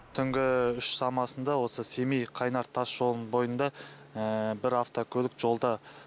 түнгі үш шамасында осы семей қайнар тасжолының бойында бір автокөлік жолда